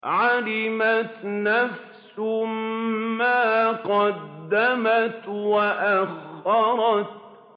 عَلِمَتْ نَفْسٌ مَّا قَدَّمَتْ وَأَخَّرَتْ